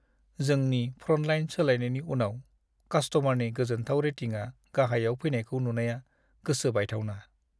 जोंनि फ्र'न्टलाइन सोलायनायनि उनाव कास्ट'मारनि गोजोनथाव रेटिंआ गाहायाव फैनायखौ नुनाया गोसो बायथावना!